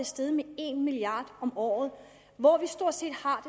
steget med en milliard om året hvor vi stort set har